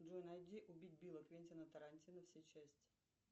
джой найди убить билла квентина тарантино все части